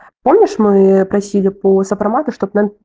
помнишь мы просили по сопромата чтобы он